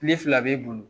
Kile fila b'e bolo